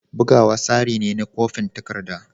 Bugawa tsari ne na kwafin takarda.